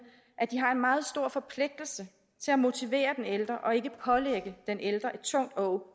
at de har en meget stor forpligtelse til at motivere den ældre og ikke pålægge den ældre et tungt åg